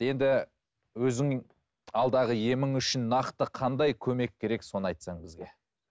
енді өзің алдағы емің үшін нақты қандай көмек керек соны айтсаң бізге